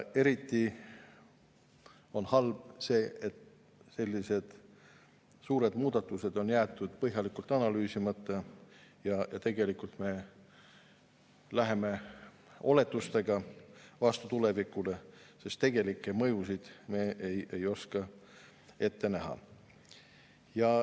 Eriti halb on see, et sellised suured muudatused on jäetud põhjalikult analüüsimata ja me läheme tulevikule vastu oletustega, sest tegelikke mõjusid ei oska me ette näha.